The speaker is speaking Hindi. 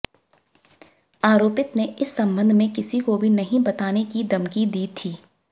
आरोपित ने इस संबंध में किसी को भी नहीं बताने की धमकी दी थी